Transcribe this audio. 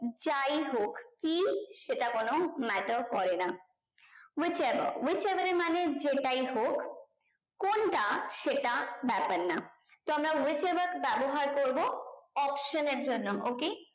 যাই হোক কি সেটা কোনো matter করে না which ever which ever এর মানে যেটাই হোক কোনটা সেটা ব্যাপার না তো আমরা which ever ব্যাবহার করবো option এর জন্য okay